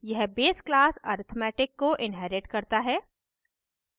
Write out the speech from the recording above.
यह base class arithmetic को inherits करता है